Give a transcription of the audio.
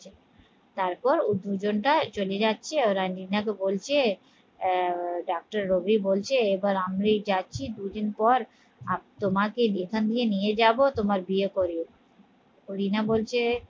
তারপর ও দুজন টা চলে যাচ্ছে ওরা বলছে আহ ডাক্তার রবি বলছে এবার আমরাই যাচ্ছি দুদিন পর আর তোমাকে এখান দিয়ে নিয়ে যাবো তোমার বিয়ে করবো তো রিনা বলছে